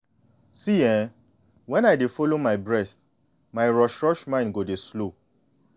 see eh when i dey follow my breath my rush-rush mind go dey slow.